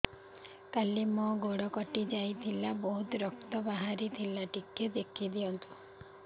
କାଲି ମୋ ଗୋଡ଼ କଟି ଯାଇଥିଲା ବହୁତ ରକ୍ତ ବାହାରି ଥିଲା ଟିକେ ଦେଖି ଦିଅନ୍ତୁ